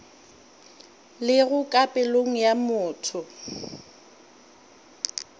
lego ka pelong ya motho